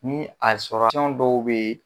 Ni a dɔw bɛ yen